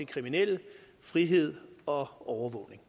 kriminelle frihed og overvågning